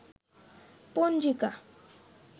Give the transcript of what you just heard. পঞ্জিকা